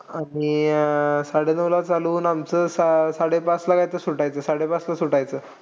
आणि साडेनऊला चालू होऊन आमचं सा~ साडेपाचला काहीतरी सुटायचं. साडेपाचला सुटायचं.